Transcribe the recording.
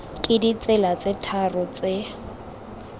ka ditsela tse tharo tse